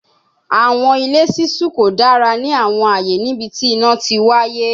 Awọn ile ṣiṣu ko dara ni awọn aaye nibiti ina ti waye